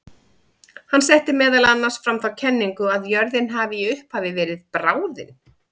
Hann setti meðal annars fram þá kenningu að jörðin hafi í upphafi verið bráðin.